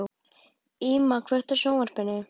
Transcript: Íma, kveiktu á sjónvarpinu.